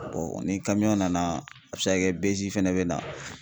Bɔn ni kamiyɔn nana a be se ka kɛ bezi fɛnɛ be na